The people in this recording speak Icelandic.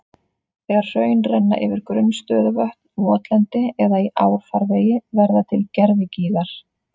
Þegar hraun renna yfir grunn stöðuvötn, votlendi eða í árfarvegi verða til gervigígar.